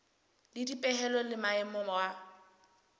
le dipehelo le maemo wa